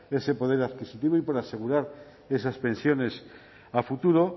ese poder adquisitivo y por asegurar esas pensiones a futuro